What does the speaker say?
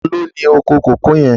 Tàló ni ókó kókòó yèn?